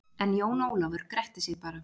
En Jón Ólafur gretti sig bara.